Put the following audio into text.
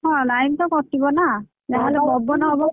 ହଁ line ତ କଟିବ ନାଁ ।